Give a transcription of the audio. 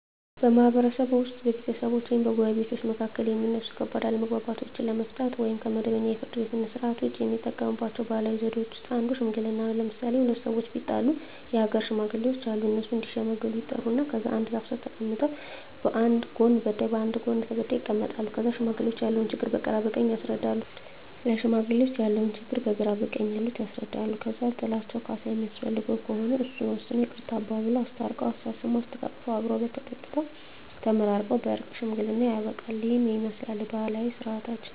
በማህበረሰብዎ ውስጥ በቤተሰቦች ወይም በጎረቤቶች መካከል የሚነሱ ከባድ አለመግባባቶችን ለመፍታት (ከመደበኛው የፍርድ ቤት ሥርዓት ውጪ) የሚጠቀሙባቸው ባህላዊ ዘዴዎች ውስጥ አንዱ ሽምግልና ነው። ለምሣሌ፦ ሁለት ሠዎች ቢጣሉ የአገር ሽማግሌዎች አሉ። እነሱ እዲሸመግሉ ይጠሩና ከዛ አንድ ዛፍ ስር ተቀምጠው በአንድ ጎን በዳይ በአንድ ጎን ተበዳይ ይቀመጣሉ። ከዛ ለሽማግሌዎች ያለውን ችግር በግራ በቀኝ ያሉት ያስረዳሉ። ከዛ ጥላቸው ካሣ የሚያስፈልገው ከሆነ እሱን ወስነው ይቅርታ አባብለው። አስታርቀው፤ አሳስመው፤ አሰተቃቅፈው አብረው በልተው ጠጥተው ተመራርቀው በእርቅ ሽምግልናው ያልቃ። ይህንን ይመስላል ባህላዊ ስርዓታችን።